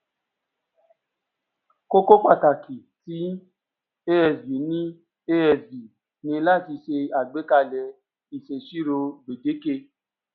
kókó pàtàkì ti asb ni asb ni láti ṣe àgbékalè ìṣèṣirò gbèdéke